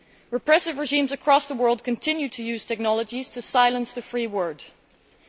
Repressive regimes across the world continue to use technologies to silence free speech.